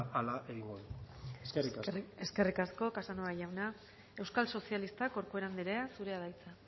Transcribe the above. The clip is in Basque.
hala egingo dugu eskerrik asko eskerrik asko casanova jauna euskal sozialistak corcuera andrea zurea da hitza